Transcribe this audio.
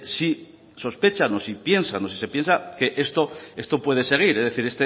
si sospechan o si piensas o si se piensa que esto puedo seguir es decir